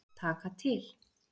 Taka til.